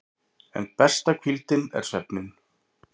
En besta hvíldin er svefninn.